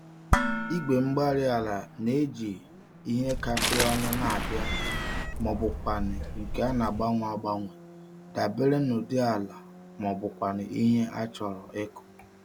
Igwe-mgbárí-ala n'eji ihe kapịrị ọnụ n'abia mọbụkwanụ̀ nke ana-agbanwe agbanwe dabere n'ụdị ala mọbụkwanụ̀ ihe achọrọ ịkụ